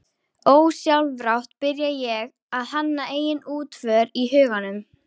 Ósjálfrátt byrja ég að hanna eigin útför í huganum